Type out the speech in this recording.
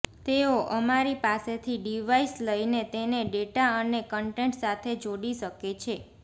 તેઓ અમારી પાસેથી ડિવાઈસ લઈને તેને ડેટા અને કન્ટેન્ટ સાથે જોડી શકે છે